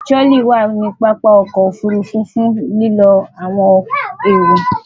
Tirolí wà ní pápá o̩kò̩ òfurufú fun lilo awon ero.